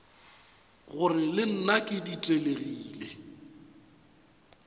gore le nna ke ditelegile